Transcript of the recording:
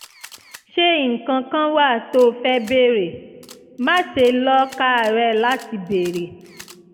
ṣé nǹkan kan wà tó o fẹ́ béèrè? má ṣe lọ́ káàárẹ̀ láti béèrè